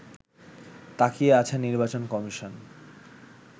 তাকিয়ে আছে নির্বাচন কমিশন